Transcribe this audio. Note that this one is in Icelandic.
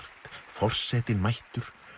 forsetinn mættur